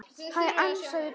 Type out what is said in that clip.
Hæ, ansaði Björg.